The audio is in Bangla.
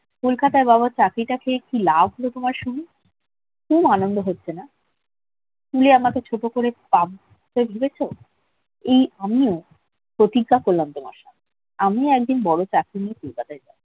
কলকাতায় বাবা ও চাকরিটা পেয়ে কি লাভ হলো তোমার শুনি খুব আনন্দ হচ্ছে না তুলে আমাকে ছোট করে এই আমিও প্রতিজ্ঞা করলাম তোমার সামনে আমি একদিন বড় চাকরি নিয়ে কলকাতায়